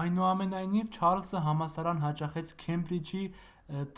այնուամենայնիվ չառլզը համալսարան հաճախեց քեմբրիջի